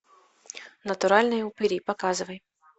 натуральные упыри показывай